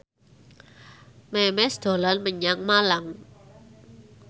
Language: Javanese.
Memes dolan menyang Malang